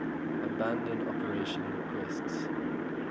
abandon operation requests